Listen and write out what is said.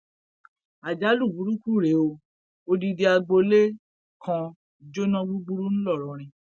àjálù burúkú rèé ò odidi agboolé kan jóná gbúgbúrú ńlọrọrin